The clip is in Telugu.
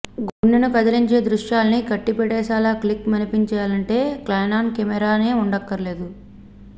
గుండెని కదిలించే దృశ్యాల్ని కట్టిపడేసేలా క్లిక్ మనిపించాలంటే కెనాన్ కెమెరానే ఉండక్కర్లేదు